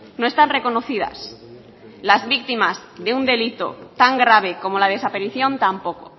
no están reconocidas las víctimas de un delito tan grave como la desaparición tampoco